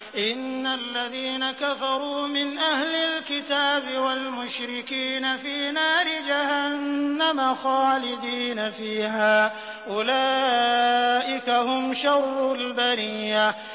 إِنَّ الَّذِينَ كَفَرُوا مِنْ أَهْلِ الْكِتَابِ وَالْمُشْرِكِينَ فِي نَارِ جَهَنَّمَ خَالِدِينَ فِيهَا ۚ أُولَٰئِكَ هُمْ شَرُّ الْبَرِيَّةِ